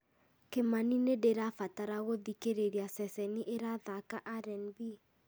kĩmani nĩ ndĩrabatara gũthikĩrĩria ceceni ĩrathaaka r n b